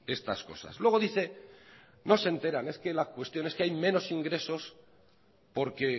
estas cosas luego dice no se enteran es que la cuestión es que hay menos ingresos porque